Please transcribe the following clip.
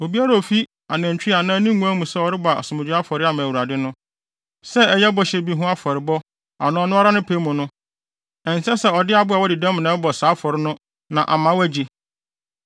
Obiara a ofi nʼanantwi anaa ne nguan mu sɛ ɔrebɔ asomdwoe afɔre ama Awurade no, sɛ ɛyɛ bɔhyɛ bi ho afɔrebɔ anaa ɔno ara ne pɛ mu no, ɛnsɛ sɛ ɔde aboa a wadi dɛm na ɛbɔ saa afɔre no na ama wɔagye.